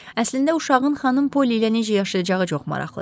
Əslində uşağın xanım Polly ilə necə yaşayacağı çox maraqlıdır.